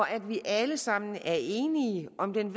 at vi alle sammen er enige om den